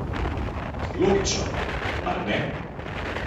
Logično, mar ne?